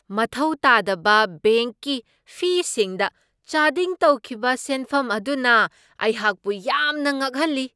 ꯃꯊꯧ ꯇꯥꯗꯕ ꯕꯦꯡꯛꯀꯤ ꯐꯤꯁꯤꯡꯗ ꯆꯥꯗꯤꯡ ꯇꯧꯈꯤꯕ ꯁꯦꯟꯐꯝ ꯑꯗꯨꯅ ꯑꯩꯍꯥꯛꯄꯨ ꯌꯥꯝꯅ ꯉꯛꯍꯜꯂꯤ ꯫